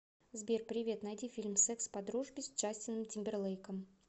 сбер привет найди фильм секс по дружбе с джастином тимберлейком